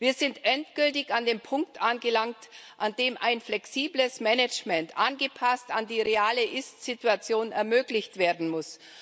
Wir sind endgültig an dem Punkt angelangt, an dem ein flexibles Management, angepasst an die reale Ist Situation, ermöglicht werden muss.